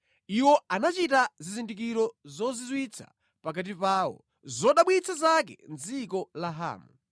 Iwo anachita zizindikiro zozizwitsa pakati pawo, zodabwitsa zake mʼdziko la Hamu.